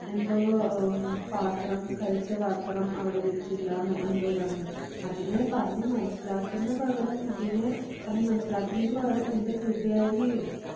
എന്തോ പാത്രം കഴിച്ച പാത്രം അവിടെ വെച്ചില്ലാന്നോ എന്തോ പറഞ്ഞ് അതിനെ പറഞ്ഞ് മനസ്സിലാക്കുന്ന പകരം കുട്ടീനെ പറഞ്ഞ് മനസ്സിലാക്കുന്നത് പകരം എൻ്റെ കൂട്ടുകാരി